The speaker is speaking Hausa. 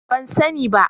ban sani ba